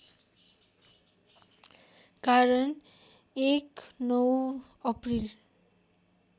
कारण १९ अप्रिल